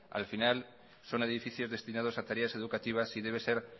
al final son edificios destinados a tareas educativas y debe ser